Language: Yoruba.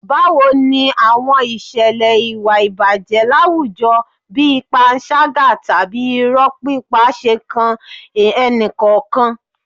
Báwo ni àwọn ìṣẹ̀lẹ̀ ìwà ìbàjẹ́ láwùjọ bí panṣágà tàbí irọ́ pípa ṣe kan ẹnì kọ̀ọ̀kan.